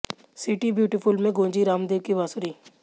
city beautiful में गूंजी राम देव की बांसुरी